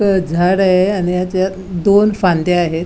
अ झाड आहे आणि याच्यात दोन फांद्या आहेत.